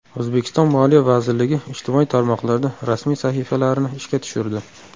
O‘zbekiston Moliya vazirligi ijtimoiy tarmoqlarda rasmiy sahifalarini ishga tushirdi.